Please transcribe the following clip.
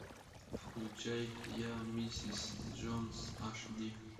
включай я миссис джонс аш ди